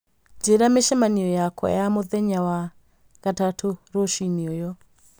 Njĩĩra mĩcemanio yakwa ya mũthenya wa gatatũ rũcinĩ ũyu